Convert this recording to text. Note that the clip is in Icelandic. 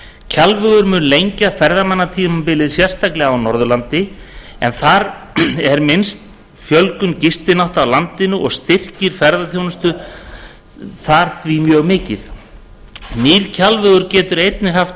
kjalvegur mun lengja ferðamannatímabilið sérstaklega á norðurlandi en þar er minnst fjölgun gistinátta á landinu og styrking ferðaþjónustu þar því mjög mikilvæg nýr kjalvegur getur einnig haft